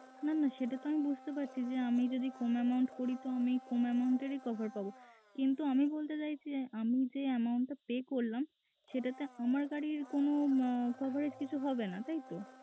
না না সেটা তো আমি বুঝতে পারছি যে আমি যদি কম amount করি তো আমি কম amount রই cover পাব কিন্তু আমি বলতে চাইছি যে আমি যে amount টা pay করলাম সেটা দিয়ে আমার গাড়ির কোনো coverage কিছু হবে না। তাই তো?